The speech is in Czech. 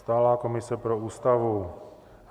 Stálá komise pro Ústavu.